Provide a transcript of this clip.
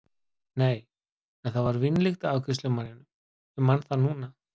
Nei, en það var vínlykt af afgreiðslumanninum, ég man það núna.